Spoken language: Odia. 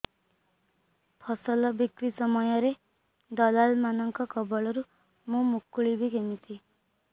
ଫସଲ ବିକ୍ରୀ ସମୟରେ ଦଲାଲ୍ ମାନଙ୍କ କବଳରୁ ମୁଁ ମୁକୁଳିଵି କେମିତି